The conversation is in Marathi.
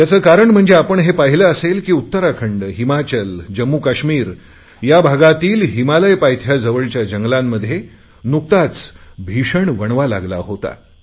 याचे कारण म्हणजे आपण हे पाहिले असेल की उत्तराखंडहिमाचल जम्मूकाश्मिर या भागातील हिमालय पायथ्याजवळच्या जंगलांमध्ये नुकताच भीषण वणवा लागला होता